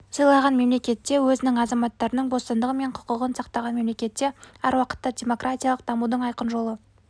сыйлаған мемлекетте өзінің азаматтарының бостандығы мен құқығын сақтаған мемлекетте әр уақытта демократиялық дамудың айқын жолы